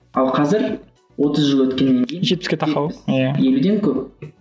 ал қазір отыз жыл өткеннен кейін жетпіске тақау жетпіс екіден көп